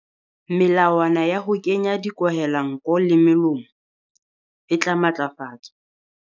Melawana ya ho kenya dikwahelanko le molomo e tla matlafatswa.